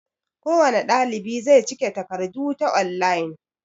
kowane ɗalibi zai cike takardu ta online